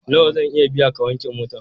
Nawa zan iya biya ka wanke mota?